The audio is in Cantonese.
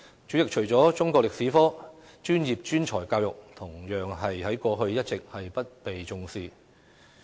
主席，除了中國歷史科，職業專才教育同樣一直不被重視。